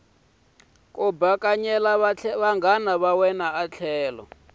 ku bakanyela vanghana va wena